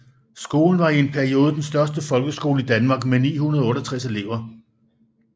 Skolen var i en periode den største folkeskole i Danmark med 968 elever